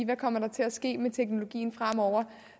der kommer til at ske med teknologien fremover